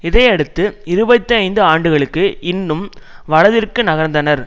இதையடுத்து இருபத்தி ஐந்து ஆண்டுகளுக்கு இன்னும் வலதிற்கு நகர்ந்தனர்